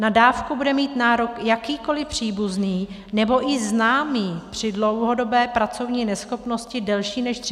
Na dávku bude mít nárok jakýkoli příbuzný nebo i známý při dlouhodobé pracovní neschopnosti delší než 30 dnů.